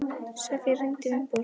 Sofía, hringdu í Viborg.